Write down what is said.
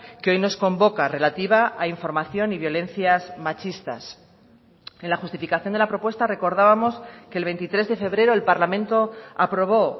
que hoy nos convoca relativa a información y violencias machistas en la justificación de la propuesta recordábamos que el veintitrés de febrero el parlamento aprobó